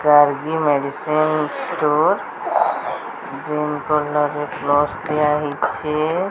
Gargi medicine store green colour ରେ plus ଦିଆହେଇଚି।